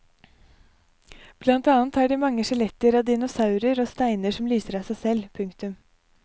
Blant annet har de mange skjeletter av dinosaurer og steiner som lyser av seg selv. punktum